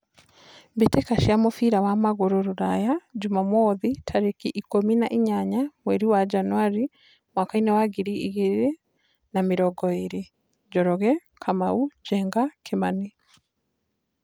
Mbĩtĩka cia mũbira wa magũrũ Ruraya Jumamwothi tarĩki ikũmi na inyanya mweri wa Janũari mwakainĩ wa ngiri igĩrĩ na mĩrongo ĩrĩ: Njoroge, Kamau, Njenga, Kimani.